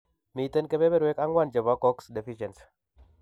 Miten kebeberuek ang'wan chebo COX deficieny